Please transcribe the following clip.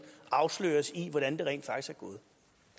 afsløres i hvordan det rent faktisk